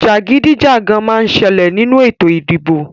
Jàgídíjàgán má ń ṣẹlẹ̀ nínú ètò ìdìbò